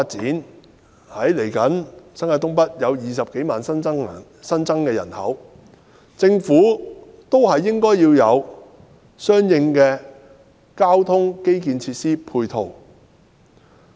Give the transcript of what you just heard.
鑒於未來新界東北將有20多萬新增人口，政府應有相應的交通基建設施和配套。